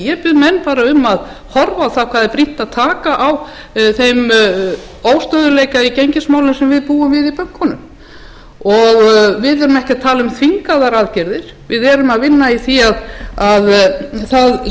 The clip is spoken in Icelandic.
ég bið menn bara að horfa á það hvað er brýnt að taka á þeim óstöðugleika í gengismálum sem við búum við í bönkunum við erum ekki að tala um þvingaðar aðgerðir við erum að vinna í því að það